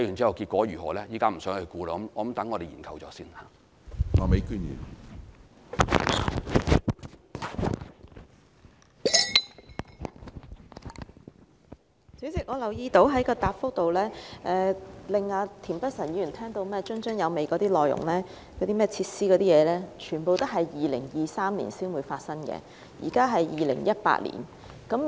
主席，我留意到局長的主體答覆令田北辰議員津津有味的內容和設施等，全都是在2023年才會發生的，而現在是2018年。